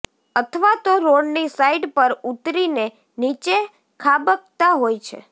અથવા તો રોડની સાઈડ પર ઉતરીને નીચે ખાબકતાં હોય છે